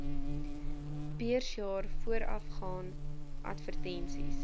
beursjaar voorafgaan advertensies